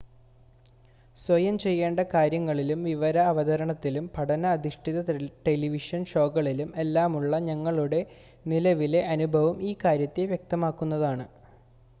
സ്വയം ചെയ്യേണ്ട കാര്യങ്ങളിലും വിവര അവതരണത്തിലും പഠന അധിഷ്ഠിത ടെലിവിഷൻ ഷോകളിലും എല്ലാമുള്ള ഞങ്ങളുടെ നിലവിലെ അനുഭവം ഈ കാര്യത്തെ വ്യക്തമാക്കുന്നതാണ്